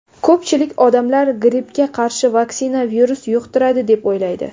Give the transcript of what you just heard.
Ko‘pchilik odamlar grippga qarshi vaksina virus yuqtiradi deb o‘ylaydi.